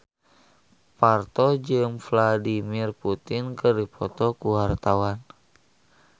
Parto jeung Vladimir Putin keur dipoto ku wartawan